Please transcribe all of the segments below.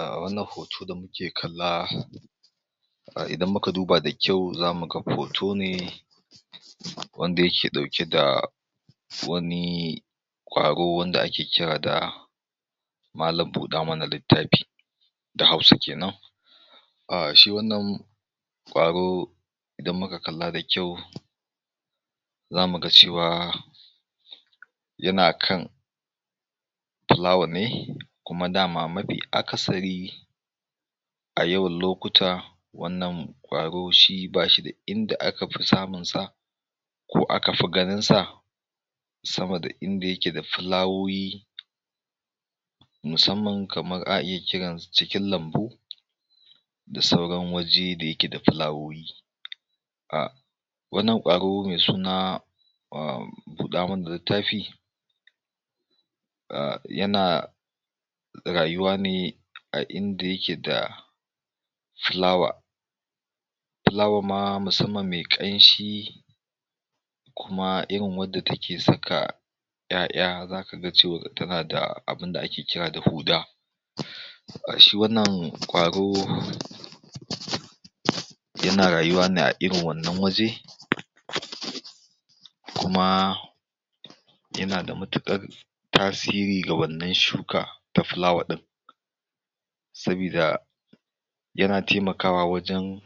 Ah wannan hoto da kuke kalla, a idan muka duba da kyau zamu ga hoto ne, wanda yake ɗauke da wani ƙwaro wanda ake kira da malam buɗa mana littafi, da hausa kenan A shi wannan ƙwaro idan muka kalla da kyau za mu ga cewa yana kan filawa ne kuma dama mafi akasari, a yawan lokuta, wannan ƙwaro shi bashi inda aka fi samun sa ko aka fi ganinsa sama da inda yake sda filawoyi, musammamn kamar a iya kiransu cikin lambu, da sauran waje da yake da filawoyi. Wannan ƙwaro, ahh buda mana littafi, ah yana rayuwa ne a inda yake da filawa, filawa\rma musamman me ƙanshi, kuma irin wadda take saka 'ya'ya, kuma zaka ga tana da abunda ake kira da huda. To ai shi wannan ƙwaro, yana rayuwa a irin wannan waje, kuma yanada matuƙar tasiri ga wannan shuka da filawa ɗin, sabida yana taimakawa wajen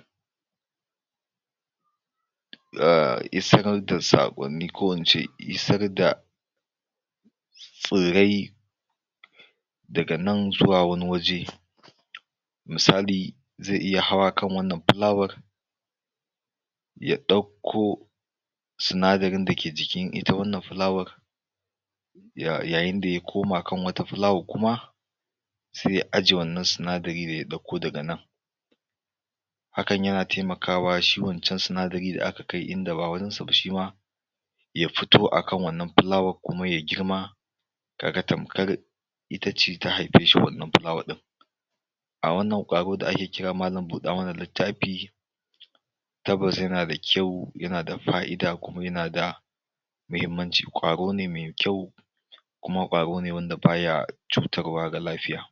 ah isar da saƙonni ko ince isar da furrai daga nan zuwa wani waje misali zai iya hawa kan wannan filawar, ya ɗauko sinadarin da ke cikin ita wannan filawan yayin da ya koma kan wata filawar kuma sai ya ajiye wannan sinadari da ya ɗauko daga nan Hakan yana taimakawa shi wancan sinadari da aka kai inda ba wurinsa ba shima, ya fito akan wannan filawar kuma yai girma, ka ga tamkar itace ta haifeshi wannan filawa ɗin. A wannan ƙwaro da ake kira malam buɗa mana littafi, tabbas yana da kyau yana da faida kuma yana da muhimanci, ƙwarone mai kyau, kuma ƙwarone wanda baya cutarwa ga lafiya.